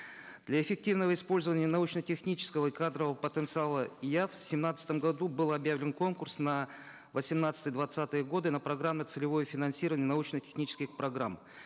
для эффективного использования научно технического и кадрового потенциала ияф в семнадцатом году был объявлен конкурс на восемнадцатый двадцатые годы на программно целевое финансирование научно технических программ